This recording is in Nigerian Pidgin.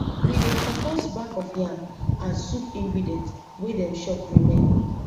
we dey compost back of yam and soup ingredient wey dem chop remain